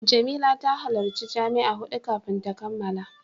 Jamila ta halarci jami'a hudu kafin ta kammala.